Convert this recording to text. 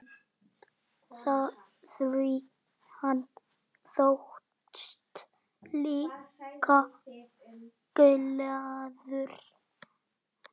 Því hann þóttist líka glaður.